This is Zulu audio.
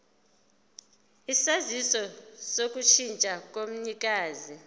isaziso sokushintsha komnikazi